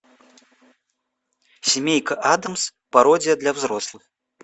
семейка адамс пародия для взрослых